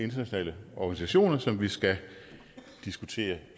internationale organisationer som vi skal diskutere